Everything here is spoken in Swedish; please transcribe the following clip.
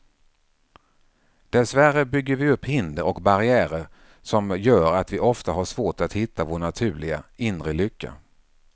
Dessvärre bygger vi upp hinder och barriärer som gör att vi ofta har svårt att hitta vår naturliga, inre lycka.